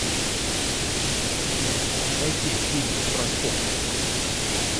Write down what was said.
найти фильмы про спорт